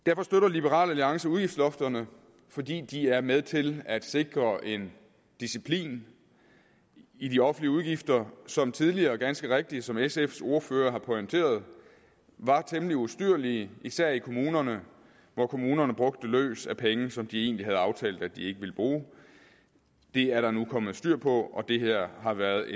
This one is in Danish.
liberal alliance støtter udgiftslofterne fordi de er med til at sikre en disciplin i de offentlige udgifter som tidligere ganske rigtigt som sfs ordfører har pointeret var temmelig ustyrlige især i kommunerne hvor kommunerne brugte løs af penge som de egentlig havde aftalt at de ikke ville bruge det er der nu kommet styr på og det her har været